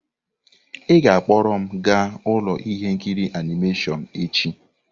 Ị ga-akpọrọ m gaa ụlọ ihe nkiri animation echi!